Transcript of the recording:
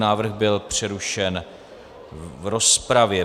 Návrh byl přerušen v rozpravě.